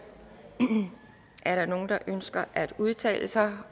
er der nogen der ønsker at udtale sig